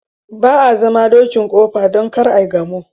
Ba a zama dokin kofa don kar ai gamo.